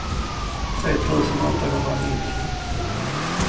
tre tusen åttahundranittio